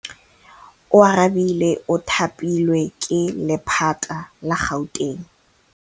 Oarabile o thapilwe ke lephata la Gauteng.